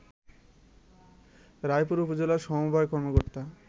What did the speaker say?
রায়পুর উপজেলা সমবায় কর্মকর্তা